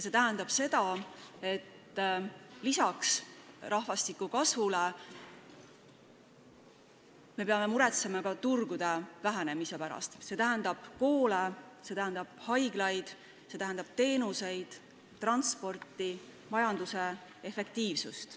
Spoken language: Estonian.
See tähendab seda, et lisaks rahvastiku kasvu pärast muretsemisele peame muretsema ka turgude vähenemise pärast, see tähendab koole, haiglaid, teenuseid, transporti, majanduse efektiivsust.